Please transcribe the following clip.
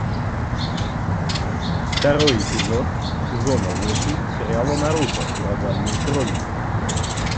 второй эпизод сезона восемь сериала наруто ураганные хроники